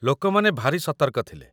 ଲୋକମାନେ ଭାରି ସତର୍କ ଥିଲେ